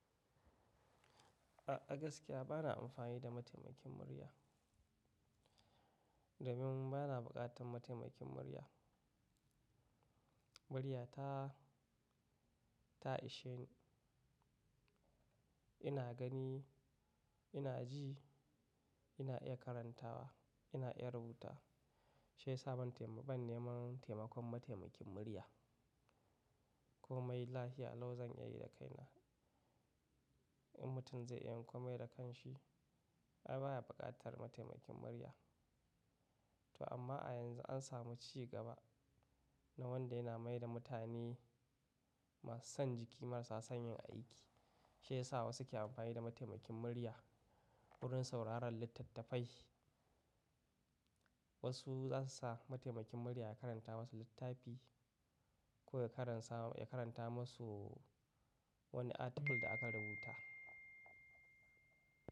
A gaskiya bana amfani da mataimakin murya domin bana buƙatar mataimakin murya. Murya ta, ta ishe ni. Ina gani, ina ji, ina iya karantawa, ina iya rubuta. Shi ya sa ban taimi, ban neman taimakon mataimakin murya. Komai lafiya lau zan iya yi da kaina. In mutum zai iya yin komai da kanshi, ai baya buƙatar mataimakin murya. To amma a yanzu an samu ci gaba na wanda yana maida mutane masu son jiki marsa son yin aiki. Shi ya sa wasu ke amfani da mataimakin murya. Wurin sauraron littattafai wasu zasu sa mataimakin murya ya karanta musu littafi ko ya karansa, ya karanta musu wani article da aka rubuta.